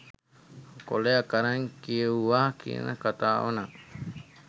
කොලයක් අරං කියෙව්වා කියන කතාව නං